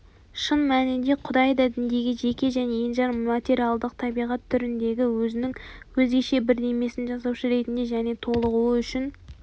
шын мәнінде құдай да діндегі жеке және енжар материалдық табиғат түріндегі өзінің өзгеше бірдемесін жасаушы ретінде және толығуы үшін